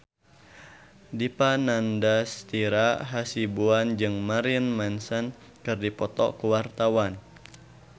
Dipa Nandastyra Hasibuan jeung Marilyn Manson keur dipoto ku wartawan